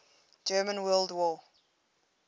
german world war